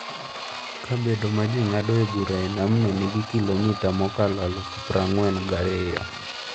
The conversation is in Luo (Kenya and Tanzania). Kabedo ma ji ng’adoe bura e namno nigi kilomita mokalo aluf prang'wen kod ariyo.